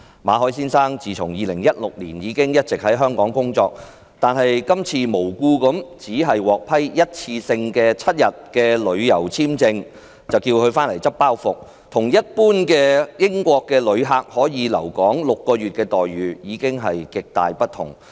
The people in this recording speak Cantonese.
馬凱先生自2016年起一直在香港工作，今次無故的只獲批單次7天的旅遊簽證，就要求他"執包袱"，與一般英國旅客可以留港6個月的待遇極大不同。